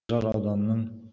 жар ауданың